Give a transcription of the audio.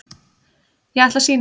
Ég ætla að sýna það.